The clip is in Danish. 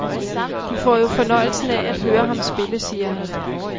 De får jo fornøjelsen af at høre ham spille, siger han.